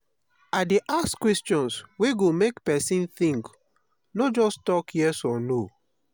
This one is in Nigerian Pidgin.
i dey ask questions wey go make pesin think no just tok yes or no.